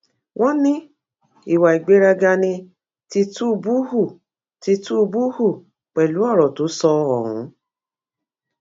wọn ní ìwà ìgbéraga ni tìtúbù hù tìtúbù hù pẹlú ọrọ tó sọ ohun